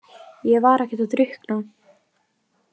Ég var ekkert að drukkna.